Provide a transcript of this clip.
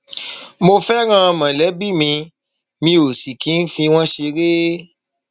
mo fẹràn mọlẹbí mi mi ò mi ò sì kì í fi wọn ṣeré